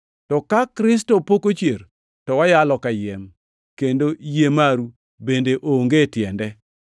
To ka Kristo pok ochier, to wayalo kayiem, kendo yie maru bende onge tiende.